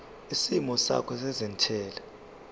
isimo sakho sezentela